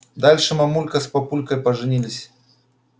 дальше мамулька с папулькой поженились